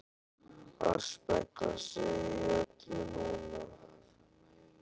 AÐ SPEGLA SIG Í ÖLLU NÚNA!